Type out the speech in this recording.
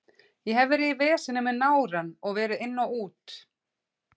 Ég hef verið í veseni með nárann og verið inn og út.